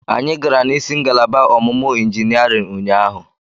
Anyị gara n'isi ngalaba ọmụmụ injiniarịn ụnyaahụ.